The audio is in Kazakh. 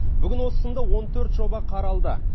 бүгін осы сынды он төрт жоба қаралды